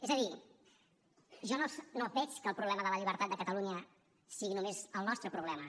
és a dir jo no veig que el problema de la llibertat de catalunya sigui només el nostre problema